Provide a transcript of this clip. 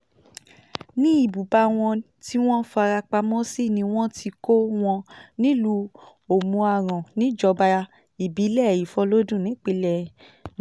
ní ibùba wọn tí wọ́n fara pamọ́ sí ni wọ́n ti kọ́ wọn nílùú òmù-aran níjọba ìbílẹ̀ ìfọlọ́dún nípìnlẹ̀ náà